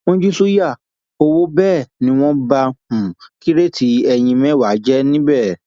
wọn jí ṣùyà owó bẹẹ ni wọn ba um kíróètì eyín mẹwàá jẹ níbẹ um